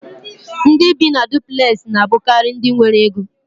Ndị bi na dupulexi na abukari ndị nwéré Égó